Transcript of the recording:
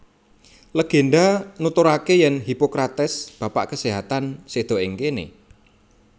Legenda nuturaké yèn Hippocrates Bapak Kasêhatan séda ing kéné